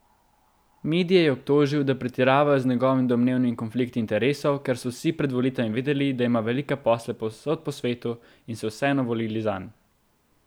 Medije je obtožil, da pretiravajo z njegovimi domnevnimi konflikti interesov, ker so vsi pred volitvami vedeli, da ima velike posle povsod po svetu in so vseeno volili zanj.